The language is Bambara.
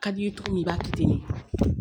Ka d'i ye cogo min i b'a kɛ ten de